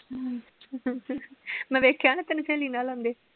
ਹਮ ਮੈ ਵੇਖਿਆ ਨਾ ਤੈਨੂੰ ਸਹੇਲੀ ਨਾਲ ਆਉਂਦੇ।